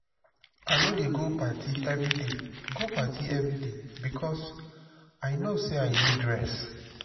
i no dey go party everyday go party everyday because i know say i need rest.